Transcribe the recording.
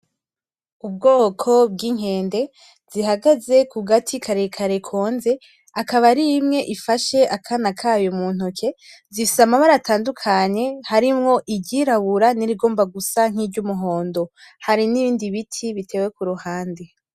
Ubwoko bw’inkende zihagaze kugati kare kare konze akaba arimwe ifasha akana kayo muntoke zifise amabara atandukanye harimwo iryirabura nirigomba gusa nk’umuhondo hari n’ibindi biti bitewe kuruhande.